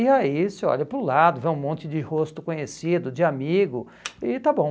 E aí você olha para o lado, vê um monte de rosto conhecido, de amigo, e está bom.